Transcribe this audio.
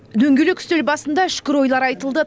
дөңгелек үстел басында үшкір ойлар айтылды